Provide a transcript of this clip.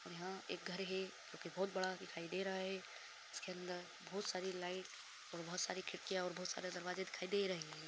यहाँ एक घर है जो कि बोहोत बड़ा दिखाई दे रहा है इसके अंदर बोहोत सारी लाइट और बोहोत सारी खिड़कियाँ और बोहोत सारे दरवाजे दिखाई दे रहे है।